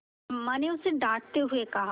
अम्मा ने उसे डाँटते हुए कहा